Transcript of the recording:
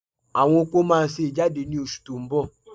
Àwọn opó máa ṣe ìjáde ní oṣù tó ń bọ̀